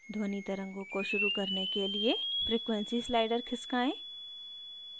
ध्वनि तरंगों को शुरू करने के लिए frequency slider खिसकाएँ